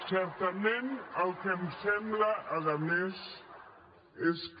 certament el que em sembla a més és que